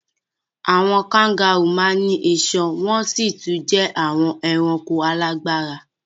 Àwọn kangárù máa ń ní iṣan wọn sì tún jẹ́ àwọn ẹranko alágbára.